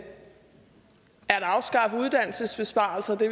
uddannelsesbesparelser det